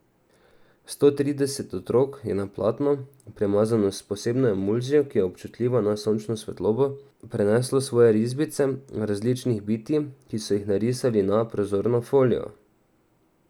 Sto trideset otrok je na platno, premazano s posebno emulzijo, ki je občutljiva na sončno svetlobo, preneslo svoje risbice različnih bitij, ki so jih narisali na prozorno folijo.